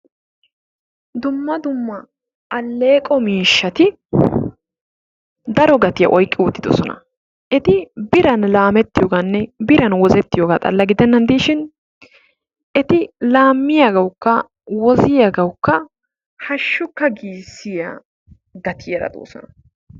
Dumma dumma alleeqo miishati daro gatiya oyiqqi uttidosona. Eti biran laamettiyoogaanne biran wozettiyooga xalla giddenan diishin eti laammiyaagawukka woziyaagawukka hashshukka giisiya gatiyaara doosona.